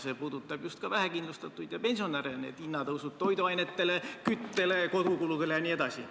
See puudutab just vähekindlustatuid ja pensionäre – hinnatõusud toiduainetele, küttele, kodukuludele jne.